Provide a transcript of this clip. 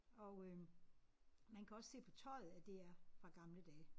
Og øh man kan også se på tøjet at det er fra gamle dage